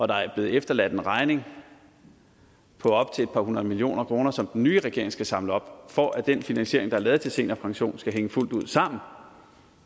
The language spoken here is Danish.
der er blevet efterladt en regning på op til et par hundrede millioner kroner som den nye regering skal samle op for at den finansiering der er lavet til seniorpension skal hænge fuldt ud sammen